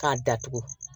K'a datugu